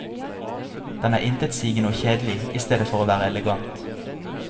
Den er intetsigende og kjedelig i stedet for å være elegant.